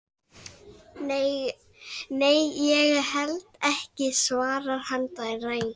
Nei, ég held ekki, svarar hann dræmt.